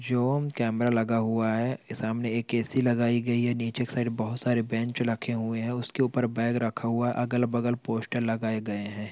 Zone camera लगा हुआ है सामने एक ऐसी लगाई गयी है नीचे के साइड मे बोहत सारे बेंच रखे हुए हैं उसके ऊपर बैग रखा हुआ है अगल बगल पोस्टर लगाए गए हैं।